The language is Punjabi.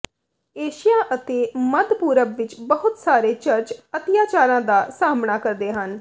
ਏਸ਼ੀਆ ਅਤੇ ਮੱਧ ਪੂਰਬ ਵਿਚ ਬਹੁਤ ਸਾਰੇ ਚਰਚ ਅਤਿਆਚਾਰਾਂ ਦਾ ਸਾਹਮਣਾ ਕਰਦੇ ਹਨ